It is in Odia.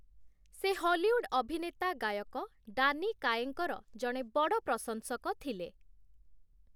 ସେ ହଲିଉଡ୍ ଅଭିନେତା 'ଗାୟକ ଡାନି କାୟେଙ୍କ' ର ଜଣେ ବଡ଼ ପ୍ରଶଂସକ ଥିଲେ ।